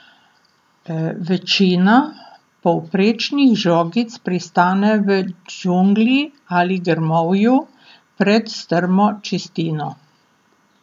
Večina povprečnih žogic pristane v džungli ali grmovju pred strmo čistino.